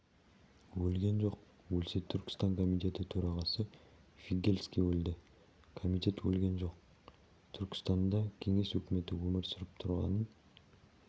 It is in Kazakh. өлген жоқ өлсе түркістан комитеті төрағасы фигельский өлді комитет өлген жоқ түркістанда кеңес өкіметі өмір сүріп тұрғанын